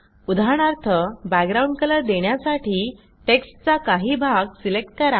उदाहरणार्थ background colour देण्यासाठी टेक्स्टचा काही भाग सिलेक्ट करा